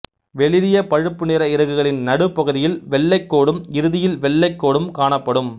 வெளிறிய பழுப்பு நிற இறகுகளின் நடுப்பகுதியில் வெள்ளைக் கோடும் இறுதியில் வெள்ளைக் கோடும் காணப்படும்